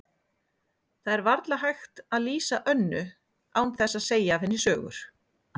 Það er varla hægt að lýsa Önnu án þess að segja af henni sögur.